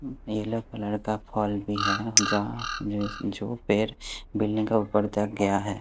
Yellow colour का पूल भी है जहाँ जो पेड़ बिल्डिंग का ऊपर तक गया है।